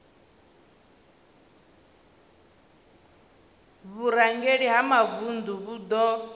vhurangeli ha mavundu vhu do